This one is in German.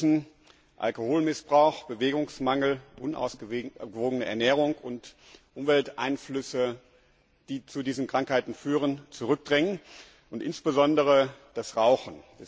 Wir müssen Alkoholmissbrauch, Bewegungsmangel, unausgewogene Ernährung und Umwelteinflüsse, die zu diesen Krankheiten führen, zurückdrängen und insbesondere das Rauchen!